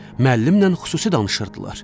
Müəllimlə xüsusi danışırdılar.